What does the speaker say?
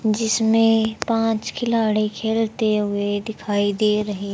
जिसमें पांच खिलाड़ी खेलते हुए दिखाई दे रहे--